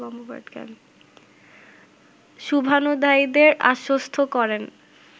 শুভান্যুধ্যায়ীদের আশ্বস্ত করেন